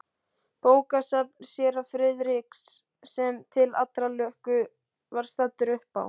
Bókasafn séra Friðriks, sem til allrar lukku var staddur uppá